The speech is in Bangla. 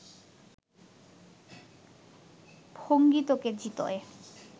ভঙ্গি তোকে জিতোয়